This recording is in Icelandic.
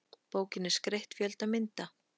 Bókin er skreytt fjölda mynda.